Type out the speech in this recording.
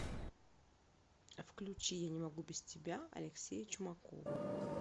включи я не могу без тебя алексея чумакова